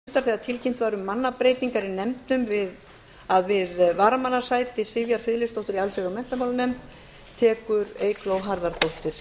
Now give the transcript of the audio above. forseta láðist að geta þess í upphafi fundar þegar tilkynnt var um mannabreytingar í nefndum að við varamannssæti sivjar friðleifsdóttur í allsherjar og menntamálanefnd tekur eygló harðardóttir